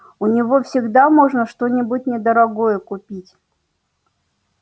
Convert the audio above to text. у него всегда можно что-нибудь недорогое купить